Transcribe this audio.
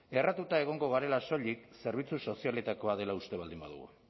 erratuta egongo garela soilik zerbitzu sozialetakoa dela uste baldin badugu